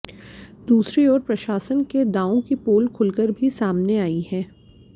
दूसरी ओर प्रशासन के दावों की पोल खुलकर भी सामने आई है